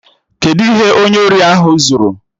Kedụ ihe onye ori ahụ zuru?